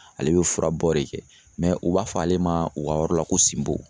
Ale bɛ furabɔ de kɛ u b'a fɔ ale ma u ka yɔrɔ la ko sinbo.